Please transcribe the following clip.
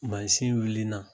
Mansin wulilnan